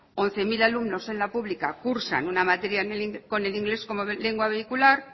once mil alumnos en la pública cursan una materia con el inglés como lengua vehicular